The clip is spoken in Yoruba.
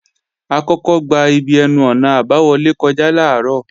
A kọ́kọ́ gba ibi ẹnu-ọ̀nà àbáwọlé kọjá làárọ̀